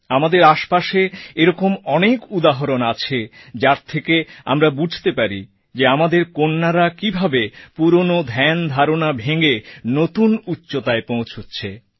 আমাদের আশপাশে এরকম অনেক উদাহরণ আছে যার থেকে আমরা বুঝতে পারি যে আমাদের কন্যারা কীভাবে পুরনো ধ্যানধারণা ভেঙে নতুন উচ্চতায় পৌঁছচ্ছে